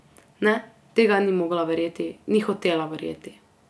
Ne, tega ni mogla verjeti, ni hotela verjeti.